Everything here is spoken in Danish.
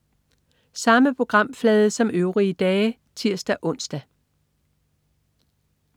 Samme programflade som øvrige dage (tirs-ons)